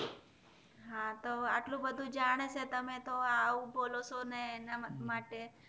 હા તો એટલું બધું જાણે છે તમેંતો એવું બોલો છો ને અના માટે